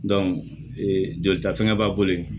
jolita fɛngɛ b'a bolo yen